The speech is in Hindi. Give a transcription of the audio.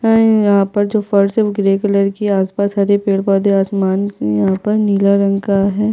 है यहाँ पर जो फर्श है वो ग्रे कलर की है आस - पास हरे पेड़ - पौधे आसमान यहाँ पर नीला रंग का है।